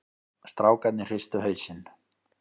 Strákarnir hristu hausinn.